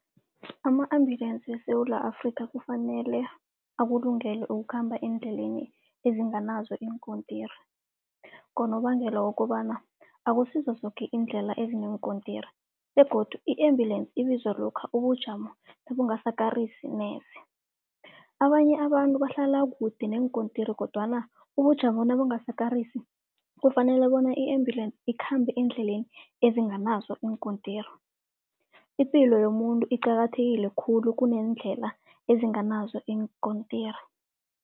Ama-ambulance weSewula Afrikha kufanele akulungele ukukhamba eendleleni ezinganazo iinkontiri. Ngonobangela wokobana akusizo zoke iindlela ezineenkontiri begodu i-ambulance ibizwa lokha ubujamo nebungasakarisi neze. Abanye abantu bahlala kude neenkontiri, kodwana ubujamo nabungasakarisi kufanele bona i-ambulance ikhambe eendleleni ezinganaso iinkontiri. Ipilo yomuntu iqakathekile khulu kuneendlela ezinganazo iinkontiri.